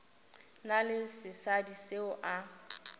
na le sesadi seo a